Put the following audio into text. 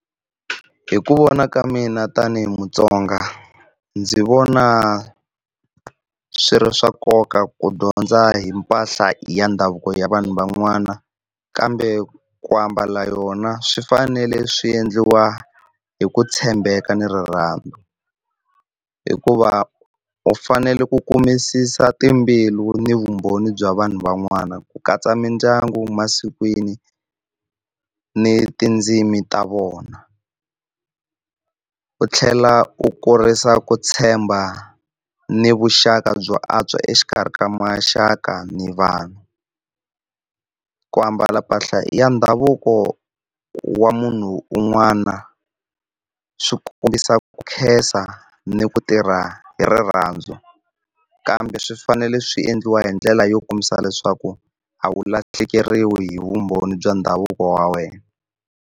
Hi ku vona ka mina tani hi Mutsonga ndzi vona swi ri swa nkoka ku dyondza hi mpahla ya ndhavuko ya vanhu van'wana kambe ku ambala yona swi fanele swi endliwa hi ku tshembeka ni rirhandzu, hikuva u fanele ku kumisisa timbilu ni vumbhoni bya vanhu van'wana ku katsa mindyangu masikwini ni tindzimi ta vona. U tlhela u kurisa ku tshemba ni vuxaka byo antswa exikarhi ka maxaka ni vanhu. Ku ambala mpahla ya ndhavuko wa munhu un'wana swi kombisa ku khensa ni ku tirha hi rirhandzu, kambe swi fanele swi endliwa hi ndlela yo kombisa leswaku a wu lahlekeriwi hi vumbhoni bya ndhavuko wa wena.